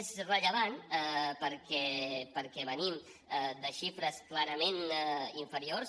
és rellevant perquè venim de xifres clarament inferiors